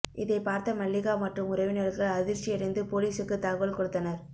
இதை பார்த்த மல்லிகா மற்றும் உறவினர்கள் அதிர்ச்சியடைந்து பொலிசுக்கு தகவல் கொடுத்தனர்